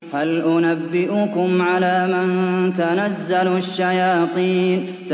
هَلْ أُنَبِّئُكُمْ عَلَىٰ مَن تَنَزَّلُ الشَّيَاطِينُ